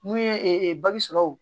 N'u ye bagi sɔrɔ